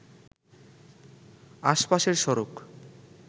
আশপাশের সড়ক